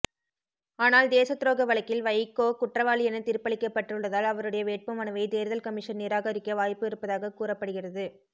ஆனால் தேசத்துரோக வழக்கில் வைகோ குற்றவாளி என தீர்ப்பளிக்கப்பட்டுள்ளதால் அவருடைய வேட்புமனுவை தேர்தல் கமிஷன் நிராகரிக்க வாய்ப்பு இருப்பதாக கூறப்படுகிறது